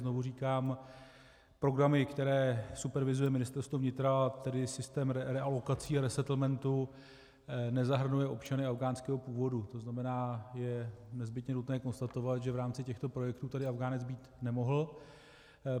Znovu říkám, programy, které supervizuje Ministerstvo vnitra, tedy systém realokací a resettlementů, nezahrnují občany afghánského původu, to znamená, je nezbytně nutné konstatovat, že v rámci těchto projektů tedy Afghánec být nemohl.